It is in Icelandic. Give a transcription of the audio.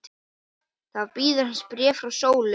Þá bíður hans bréf frá Sólu.